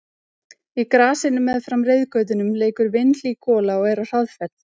Í grasinu meðfram reiðgötunum leikur vinhlý gola og er á hraðferð.